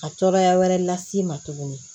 Ka tɔɔrɔya wɛrɛ las'i ma tuguni